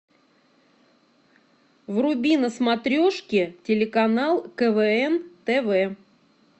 вруби на смотрешке телеканал квн тв